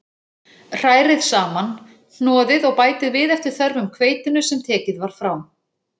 Hrærið saman, hnoðið og bætið við eftir þörfum hveitinu sem tekið var frá.